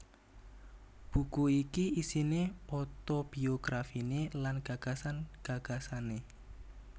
Buku iki isiné otobiografiné lan gagasan gagasané